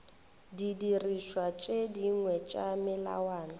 didirišwa tše dingwe tša melawana